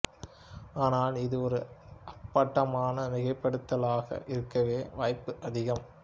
ஆனால் இது ஒரு அப்பட்டமான மிகைப்படுத்தலாக இருக்கவே வாய்ப்பு அதிகம்